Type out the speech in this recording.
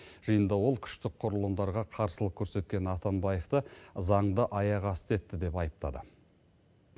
жиында ол күштік құрылымдарға қарсылық көрсеткен атамбаевты заңды аяқ асты етті деп айыптады